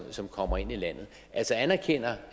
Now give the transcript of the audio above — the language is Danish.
som kommer ind i landet anerkender